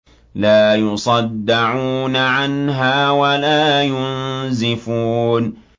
لَّا يُصَدَّعُونَ عَنْهَا وَلَا يُنزِفُونَ